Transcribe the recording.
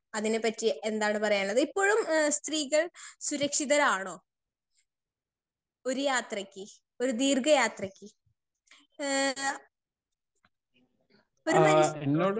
Speaker 2 അതിനെ പറ്റി എന്താണ് പറയാള്ളത് ഇപ്പോഴും ഏഹ് സ്ത്രീകൾ സുരക്ഷിതരാണോ? ഒരു യാത്രക്ക് ഒരു ദീർഘ യാത്രക്ക് ഏഹ് ല ഒരു